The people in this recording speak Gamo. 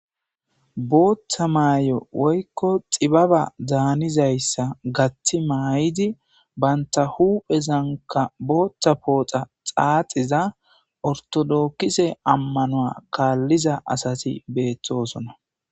Booththa maayo woykko xibbaba daanizayssa gaththi mayidi bantta huphphezankka booththa pooxa xaaxiza orttodokisse ammano kalliza assati bettosona.